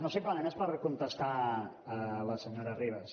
no simplement és per contestar la senyora ribas